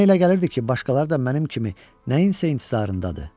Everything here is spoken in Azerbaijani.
Mənə elə gəlirdi ki, başqaları da mənim kimi nəyinsə intizarındadır.